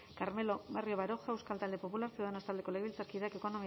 carmelo barrio baroja euskal talde popular ciudadanos taldeko legebiltzarkideak ekonomiaren